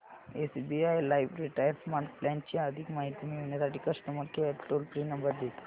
SBI life retire smart plan ची अधिक माहिती मिळविण्यासाठी customer care toll free number दे